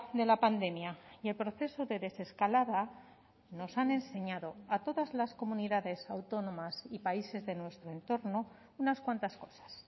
de la pandemia y el proceso de desescalada nos han enseñado a todas las comunidades autónomas y países de nuestro entorno unas cuantas cosas